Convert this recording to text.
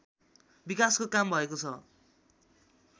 विकासको काम भएको छ